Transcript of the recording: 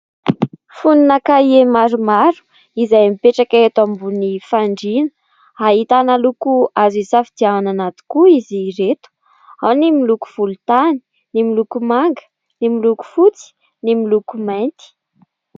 Fonona kahie maromaro izay mipetraka eto ambony fandriana, ahitana loko azo hisafidianana tokoa izy ireto : ao ny miloko volontany, ny miloko manga, ny miloko fotsy, ny miloko mainty.